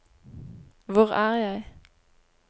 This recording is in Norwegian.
hvor er jeg